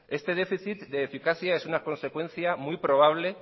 este déficit de eficacia es una consecuencia muy probable